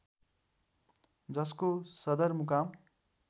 जसको सदर मुकाम